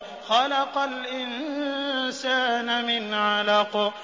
خَلَقَ الْإِنسَانَ مِنْ عَلَقٍ